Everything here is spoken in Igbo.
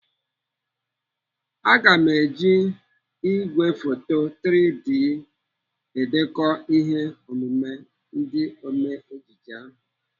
Aga m eji igwefoto 3D edekọ ihe omume ndị ome ejije ahụ.